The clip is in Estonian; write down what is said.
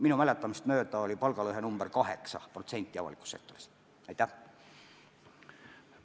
Minu mäletamist mööda oli palgalõhe avalikus sektoris 8%.